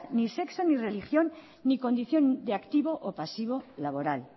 ni sexo ni religión ni condición de activo o pasivo laboral